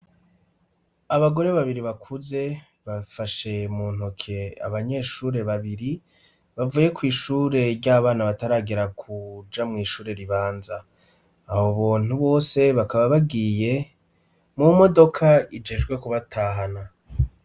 Abagore babiri bakuze bafashe mu ntoke abanyeshure babiri bavuye kw'ishure ry'abana bataragera kuja mw'ishure ribanza. Abo buntu bose bakaba bagiye mu modoka ijejwe kubatahana.